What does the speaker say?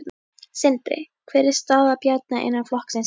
Sindri: Hver er staða Bjarna innan flokksins í dag?